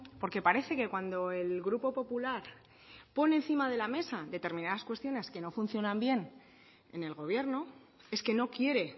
porque parece que cuando el grupo popular pone encima de la mesa determinadas cuestiones que no funcionan bien en el gobierno es que no quiere